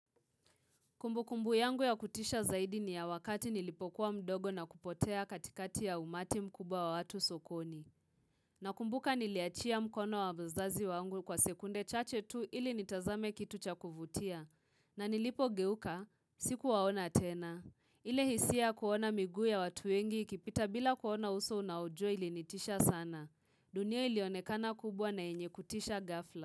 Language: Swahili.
Kumbu kumbu yangu ya kutisha zaidi ni ya wakati nilipokuwa mdogo na kupotea katikati ya umati mkubwa wa watu sokoni. Na kumbuka niliachia mkono wa mzazi wangu kwa sekunde chache tu ili nitazame kitu cha kuvutia. Na nilipo geuka, siku waona tena. Ile hisia kuona migu ya watu wengi kipita bila kuona uso unaojia ili nitisha sana. Dunia ili onekana kubwa na yenye kutisha gafla.